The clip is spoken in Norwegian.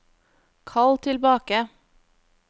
kall tilbake